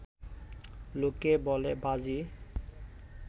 লোকে বলে, বাজি